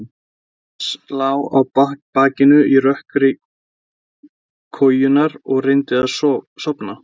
Thomas lá á bakinu í rökkri kojunnar og reyndi að sofna.